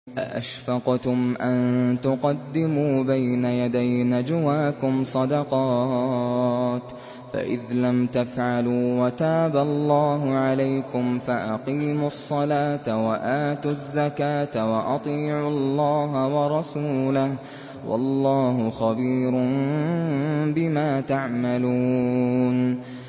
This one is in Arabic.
أَأَشْفَقْتُمْ أَن تُقَدِّمُوا بَيْنَ يَدَيْ نَجْوَاكُمْ صَدَقَاتٍ ۚ فَإِذْ لَمْ تَفْعَلُوا وَتَابَ اللَّهُ عَلَيْكُمْ فَأَقِيمُوا الصَّلَاةَ وَآتُوا الزَّكَاةَ وَأَطِيعُوا اللَّهَ وَرَسُولَهُ ۚ وَاللَّهُ خَبِيرٌ بِمَا تَعْمَلُونَ